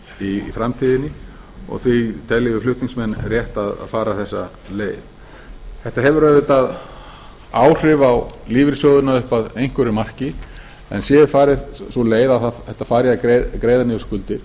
í framtíðinni og því teljum við flutningsmenn rétt að fara þessa leið þetta hefur auðvitað áhrif á lífeyrissjóðina upp að einhverju marki en sé farin sú leið að þetta fari í að greiða niður skuldir